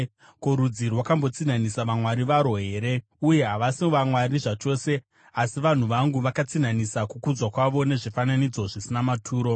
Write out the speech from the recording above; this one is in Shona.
Ko, rudzi rwakambotsinhanisa vamwari varwo here? Uye havasi vamwari zvachose. Asi vanhu vangu vakatsinhanisa kukudzwa kwavo nezvifananidzo zvisina maturo.